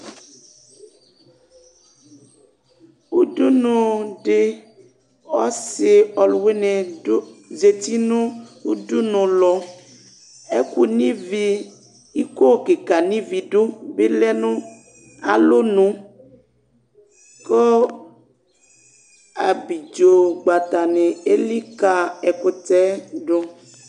ũdũnũ dï ɔssi ɔlũwini dũ zati nu ũdũnũ lɔ ɛkũ nuivi ikó kïka nuivi ɗu bilɛnũ alɔnũ kũ abidzo gbata ni élika ɛkutẽdũ